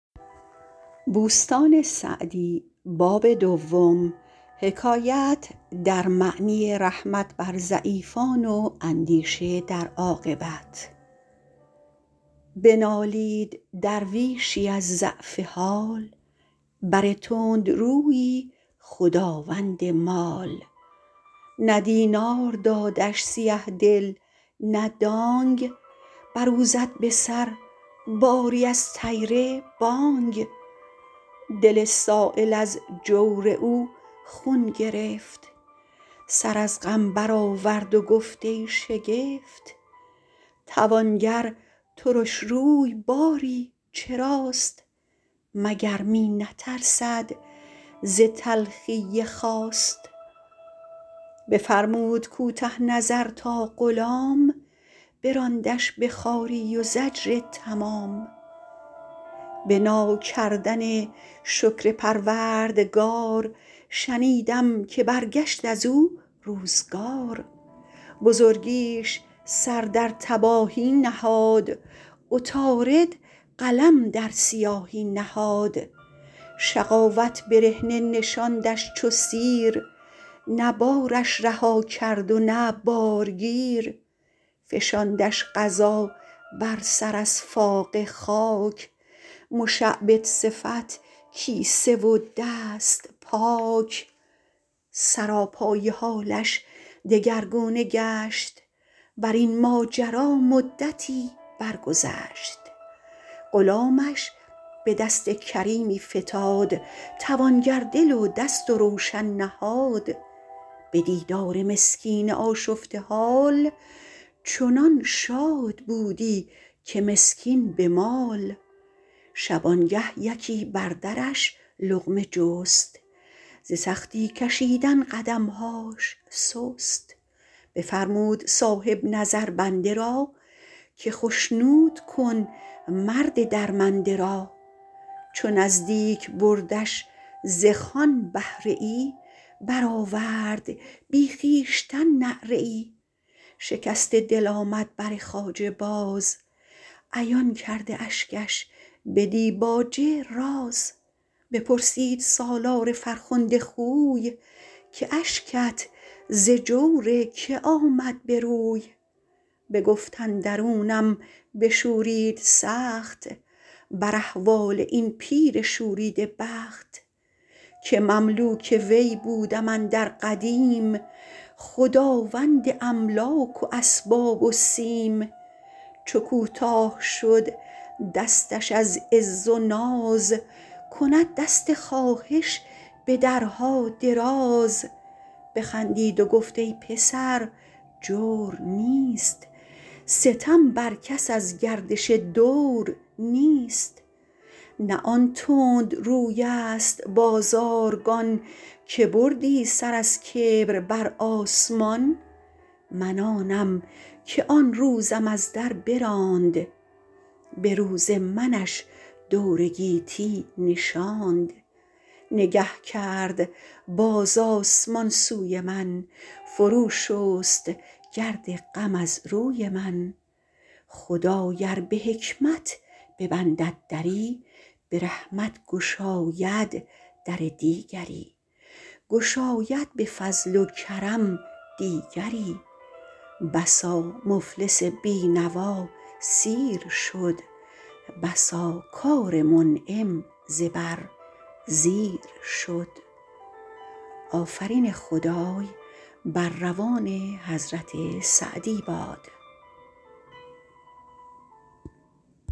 بنالید درویشی از ضعف حال بر تندرویی خداوند مال نه دینار دادش سیه دل نه دانگ بر او زد به سر باری از طیر بانگ دل سایل از جور او خون گرفت سر از غم بر آورد و گفت ای شگفت توانگر ترش روی باری چراست مگر می نترسد ز تلخی خواست بفرمود کوته نظر تا غلام براندش به خواری و زجر تمام به ناکردن شکر پروردگار شنیدم که برگشت از او روزگار بزرگیش سر در تباهی نهاد عطارد قلم در سیاهی نهاد شقاوت برهنه نشاندش چو سیر نه بارش رها کرد و نه بارگیر فشاندش قضا بر سر از فاقه خاک مشعبد صفت کیسه و دست پاک سراپای حالش دگرگونه گشت بر این ماجرا مدتی بر گذشت غلامش به دست کریمی فتاد توانگر دل و دست و روشن نهاد به دیدار مسکین آشفته حال چنان شاد بودی که مسکین به مال شبانگه یکی بر درش لقمه جست ز سختی کشیدن قدمهاش سست بفرمود صاحب نظر بنده را که خشنود کن مرد درمنده را چو نزدیک بردش ز خوان بهره ای برآورد بی خویشتن نعره ای شکسته دل آمد بر خواجه باز عیان کرده اشکش به دیباجه راز بپرسید سالار فرخنده خوی که اشکت ز جور که آمد به روی بگفت اندرونم بشورید سخت بر احوال این پیر شوریده بخت که مملوک وی بودم اندر قدیم خداوند املاک و اسباب و سیم چو کوتاه شد دستش از عز و ناز کند دست خواهش به درها دراز بخندید و گفت ای پسر جور نیست ستم بر کس از گردش دور نیست نه آن تندروی است بازارگان که بردی سر از کبر بر آسمان من آنم که آن روزم از در براند به روز منش دور گیتی نشاند نگه کرد باز آسمان سوی من فرو شست گرد غم از روی من خدای ار به حکمت ببندد دری گشاید به فضل و کرم دیگری بسا مفلس بینوا سیر شد بسا کار منعم زبر زیر شد